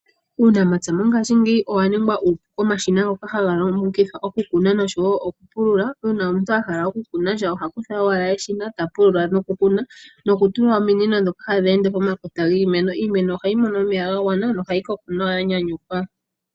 Uunamapya mongaashingeyi owa ninga omashina ngoka haga longithwa okukuna nenge okupulula. Uuna omuntu a hala okukunasha, oha kutha owala eshina, ta pulula nokukuna, nokutula ominino ndhoka hadhi ende po makota giimeno. Iimeno ohayi mono omeya ga gwana, nohayi koko ya nyanyukwa.